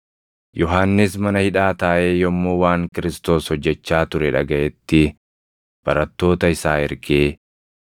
Yohannis mana hidhaa taaʼee yommuu waan Kiristoos hojjechaa ture dhagaʼetti barattoota isaa ergee,